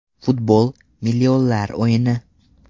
Futbol - millionlar o‘yini.